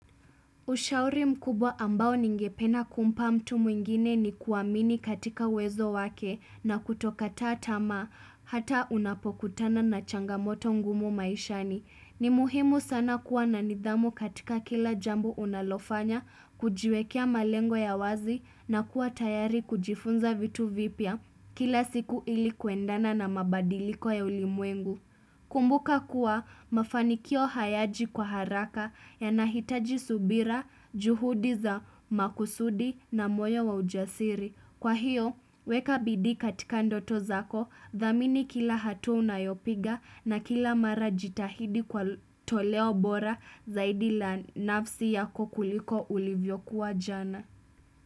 Ushauri mkubwa ambao ningependa kumpa mtu mwingine nikuamini katika uwezo wake na kutokataa tamaa hata unapokutana na changamoto ngumu maishani. Ni muhimu sana kuwa na nidhamu katika kila jambo unalofanya, kujiwekea malengo ya wazi na kuwa tayari kujifunza vitu vipya kila siku ilikuendana na mabadiliko ya ulimwengu. Kumbuka kuwa mafanikio hayaji kwa haraka yanahitaji subira juhudi za makusudi na moyo wa ujasiri. Kwa hio weka bidii katika ndoto zako dhamini kila hatua unayopiga na kila mara jitahidi kwa toleo bora zaidi la nafsi yako kuliko ulivyokuwa jana.